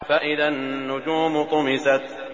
فَإِذَا النُّجُومُ طُمِسَتْ